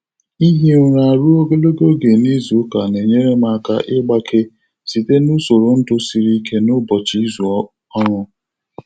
Ịhi ụra ruo ogologo oge n’izu ụka na-enyere m aka ịgbake site n'usoro ndụ siri ike n'ụbọchị izu ọrụ.